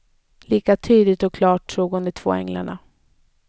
Lika tydligt och klart såg hon de två änglarna.